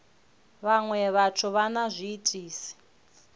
vhaṅwe vhathu vha na zwiitisi